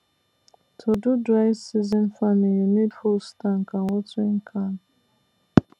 to do dry season farming you need hose tank and watering can